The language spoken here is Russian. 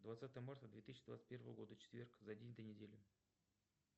двадцатое марта две тысячи двадцать первого года четверг за день до недели